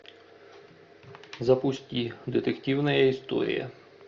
запусти детективная история